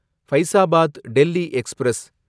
Faizabad Delhi express